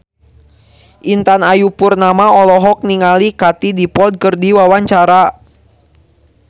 Intan Ayu Purnama olohok ningali Katie Dippold keur diwawancara